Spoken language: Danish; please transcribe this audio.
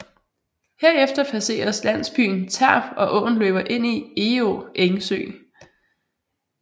Herefter passeres landsbyen Terp og åen løber ind i Egå Engsø